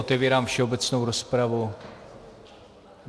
Otevírám všeobecnou rozpravu.